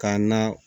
K'a na